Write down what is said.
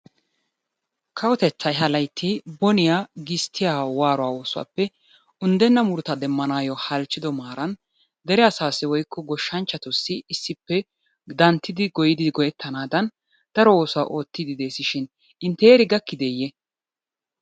Kawotettaay ha laytti boniya gisttiya waaruwappe oosuwappe unddenna muruta demmanaayo halchchido maaran dere asaassi woykko gshshanchchatussi issippe danttiddi hoyidi go"ettanaadan daro ooduwa oottidi deesishin intte heeri gakkideye?